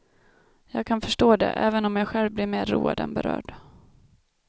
Jag kan förstå det, även om jag själv blir mer road än berörd.